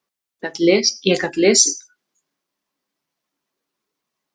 Ég gat lesið það sem á því stóð en það sagði mér ekkert.